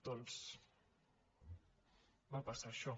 doncs va passar això